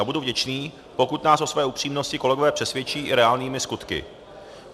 A budu vděčný, pokud nás o své upřímnosti kolegové přesvědčí i reálnými skutky.